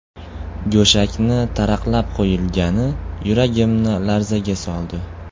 Go‘shakni taraqlab qo‘yilgani yuragimni larzaga soldi.